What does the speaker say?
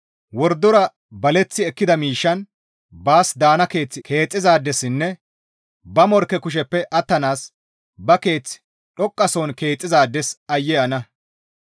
«Wordora baleththi ekkida miishshan baas daana keeth keexxizaadessinne ba morkke kusheppe attanaas ba keeth dhoqqasohon keexxizaades aayye ana!